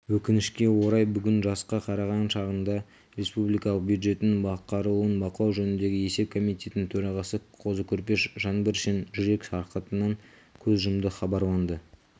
өкінішке орай бүгін жасқа қараған шағында республикалық бюджеттің атқарылуын бақылау жөніндегі есеп комитетінің төрағасы қозы-көрпеш жаңбыршин жүрек сырқатынан көз жұмды хабарланды